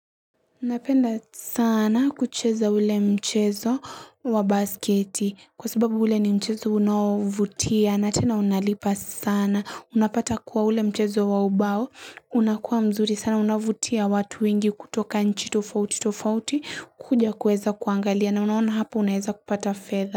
Napenda sana kucheza ule mchezo wa basketi. Kwa sababu ule ni mchezo unaovutia na tena unalipa sana. Unapata kuwa ule mchezo wa ubao unakuwa mzuri sana unavutia watu wengi kutoka nchi tofauti tofauti kuja kuweza kuangalia na unaona hapo unaeza kupata fedha.